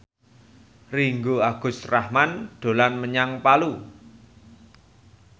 Ringgo Agus Rahman dolan menyang Palu